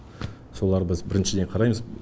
соларды біз біріншіден қараймыз